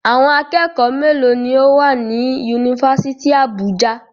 Àwọn akẹ́kọ̀ọ́ mélòó ni ó wà ní Yunifásítì Àbújá?